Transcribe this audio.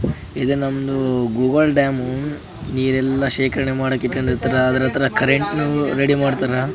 ಇದು ನಮ್ದು ಗೂಗಲ್ ಡ್ಯಾಮ್ ನೀರೆಲ್ಲ ಶೇಖರಣೆ ಮಾಡಕ್ಕಿಟ್ಕೊಂಡು ಇರ್ತಾರ ಅದ್ರ ಹತ್ರ ಕರೆಂತ್ ರೆಡಿ ಮಾಡ್ತಾರ.